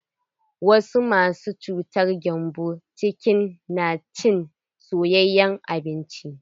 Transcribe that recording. Wasu masu cutar gembon ciki na cin soyayen abinci.